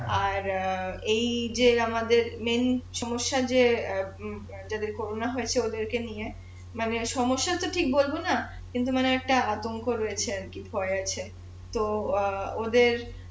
আর এই যে আমাদের সমস্যা যে অ্যাঁ যাদের করোনা হয়েছে ওদের কে নিয়ে মানে সমস্যা তো ঠিক বলবো না কিন্তু মানে একটা আতঙ্ক রয়েছে আর কি ভয় আছে তো অ্যাঁ ওদের